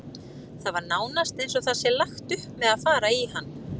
Það er nánast eins og það sé lagt upp með að fara í hann.